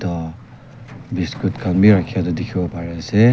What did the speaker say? o biscuit khan bi rakhia toh dikhibo pari ase.